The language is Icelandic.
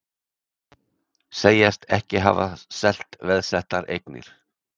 Segjast ekki hafa selt veðsettar eignir